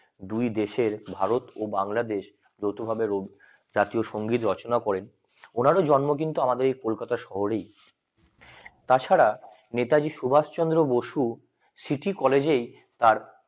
দুই দেশের ভারত এবং বাংলাদেশ জাতীয় সংগীত রচনা করেন ওনারও জন্ম কিন্তু আমাদের এই কলকাতা শহরেই তাছাড়া নেতাজি সুভাষচন্দ্র বসু সিটি কলেজের তার